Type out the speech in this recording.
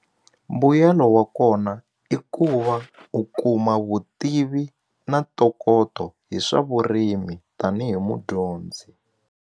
Mbuyelo wa kona i ku va u kuma vutivi na ntokoto hi swa vurimi tanihi mudyondzi.